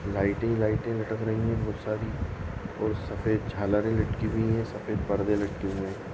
लाइटे ही लाइटे ही लटक रही है बहुत सारि और सफ़ेद झालरे ही लटकी हुयी है और परदे लटके हुए है।